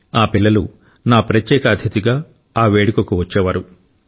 ఆ పిల్లలు నా ప్రత్యేక అతిథిగా ఆ వేడుకకు వచ్చేవారు